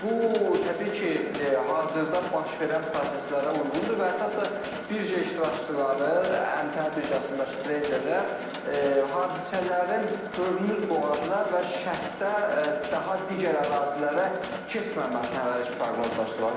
Bu təbii ki, hazırda baş verən proseslərə uyğundur və əsas da birja iştirakçıları, ƏMTƏ birjasındakı treyderlər hadisələrin Hörmüz boğazına və şərqdə daha digər ərazilərə keçməməsini hələlik proqnozlaşdırırlar.